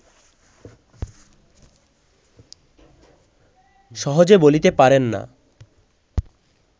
সহজে বলিতে পারেন না